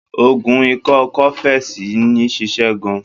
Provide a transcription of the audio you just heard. Oògùn ikọ́ cofex yìí ń ṣịṣẹ́ gan-an.